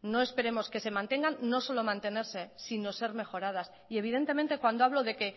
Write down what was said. no esperemos que se mantengan no solo mantenerse sino ser mejoradas y evidentemente cuando hablo de que